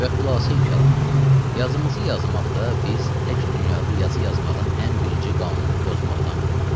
Və xülasəi kəlam, yazımızı yazmaqda biz tək dünyada yazı yazmağın ən birinci qanunu pozmaqdan qorxurduq.